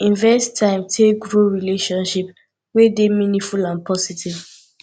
invest time take grow relationship wey dey meaningful and positive